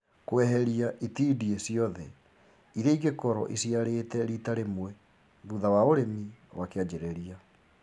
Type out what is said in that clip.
Kweheria itindiĩ ciothe iria ingĩkorwo iciarĩte rita rĩmwe thutha wa ũrĩmi wa kĩanjĩrĩria